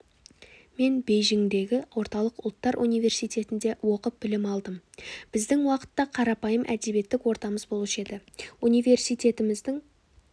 мен бейжіңдегі орталық ұлттар университетінде оқып білім алдым біздің уақытта қарапайым әдебиеттік ортамыз болушы еді университетіміздің